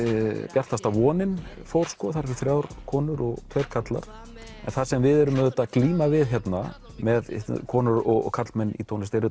bjartasta vonin fór þar eru þrjár konur og tveir karlar það sem við erum að glíma við hérna með konur og karlmenn í tónlist er